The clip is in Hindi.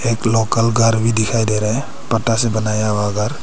एक लोकल घर भी दिखाई दे रहा है। पत्ता से बनाया हुआ घर।